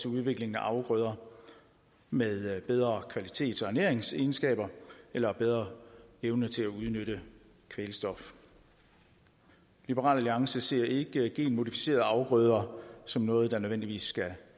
udviklingen af afgrøder med bedre kvalitet og ernæringsegenskaber eller bedre evne til at udnytte kvælstof liberal alliance ser ikke genmodificerede afgrøder som noget der nødvendigvis skal